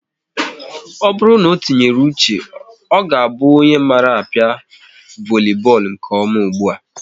Ọ bụrụ na o tinyere uche, ọ ga-abụ onye mara a pịa voli bọọlụ nke ọma ụgbụa